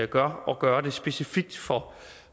gør at gøre det specifikt for